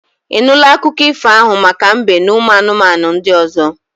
I nụla akụkọ ifo ahụ maka mbe n'ụmụ anụmanụ ndị ọzọ?